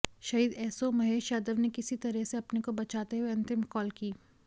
शहीद एसओ महेश यादव ने किसी तरह से अपने को बचाते हुए अंतिम कॉल की